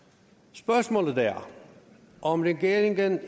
spørgsmålet er om regeringen